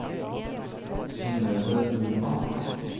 Synnøve Normann